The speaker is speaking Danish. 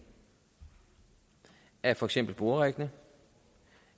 af for eksempel boreriggene